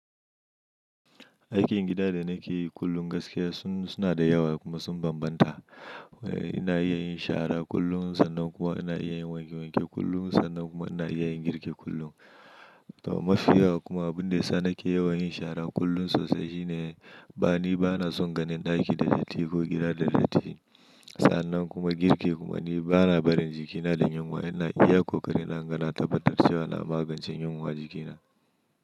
Aikin gida da na ke yi kullum gaskiya sun suna da yawa kuma sun banbanta. Ina iya yin shara kullum, sannan kuma ina iya yin wanke wanke kullum, sannan kuma ina iya yin girki kullum. Mafi yawa kuma abin da isa na ke yawan yin shara kullum sosai shi ne, bani bana son ganin ɗaki da datti ko gida da datti. Sa'annan kuma girki kuma ni bana barin jikina da yunwa, ina iya ƙoƙarina inga na tabbatar cewa na magance yinwa jikina.